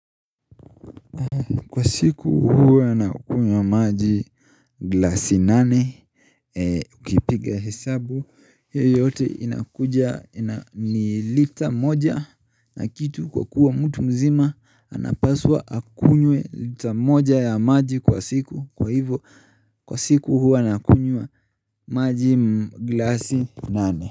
Kwa siku huwa nakunywa maji glasi nane, ukipiga hesabu, hiyo yote inakuja ni lita moja na kitu kwa kuwa mtu mzima, anapaswa akunywe lita moja ya maji kwa siku, kwa hivo kwa siku huu nakunywa maji glasi nane.